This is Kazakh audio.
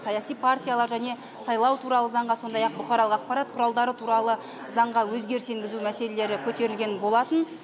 саяси партиялар және сайлау туралы заңға сондай ақ бұқаралық ақпарат құралдары туралы заңға өзгеріс енгізу мәселелері көтерілген болатын